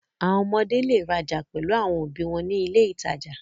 Àwọn ọmọdé le rajà pẹ̀lú àwọn òbí wọn ní ilé-ìtajà.